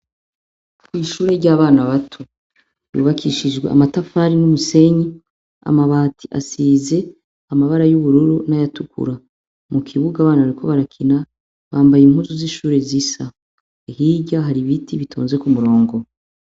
Kw'ishure ry'abana bato yubakishijwe amatafari n'umusenyi amabati asize amabara y'ubururu n'ayatukura mu kibuga abana bariko barakina bambaye impuzu z'ishure zisa ahirya hari ibiti bitonze ku murongo.